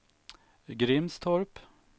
Grimstorp